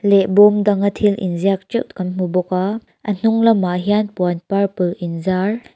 bawm dang a thil in ziak teuh kan hmu bawk a a hnung lamah hian puan purple in zar--